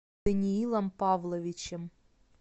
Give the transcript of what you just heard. даниилом павловичем